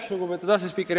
Lugupeetud asespiiker!